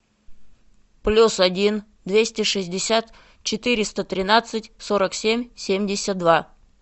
плюс один двести шестьдесят четыреста тринадцать сорок семь семьдесят два